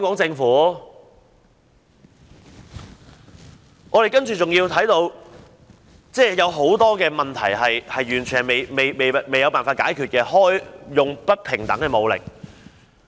此外，我們看到很多問題完全未有辦法解決，例如警方使用不平等的武力。